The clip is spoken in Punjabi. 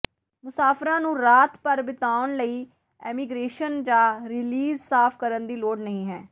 ਮੁਸਾਫ਼ਰਾਂ ਨੂੰ ਰਾਤ ਭਰ ਬਿਤਾਉਣ ਲਈ ਇਮੀਗ੍ਰੇਸ਼ਨ ਜਾਂ ਰੀਲੀਜ਼ ਸਾਫ ਕਰਨ ਦੀ ਲੋੜ ਨਹੀਂ ਹੈ